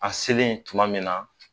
An selen tuma min na